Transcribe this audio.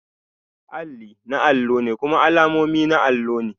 Alli na alluna ne kuma alamomi na allo ne